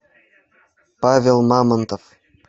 павел мамонтов